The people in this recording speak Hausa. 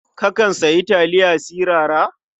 Kakan sayi taliya sirara?